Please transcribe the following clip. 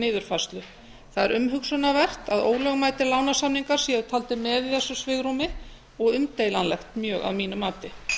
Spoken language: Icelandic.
niðurfærslu það er umhugsunarvert að ólögmætir lánasamningar séu taldir með í þessu svigrúmi og umdeilanlegt mjög að mínu mati